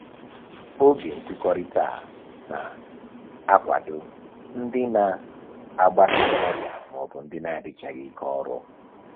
Oge nkụkọrịta a na-akwado ndị na-agbake n'ọrịa maọbụ ndị adịchaghị ike ọrụ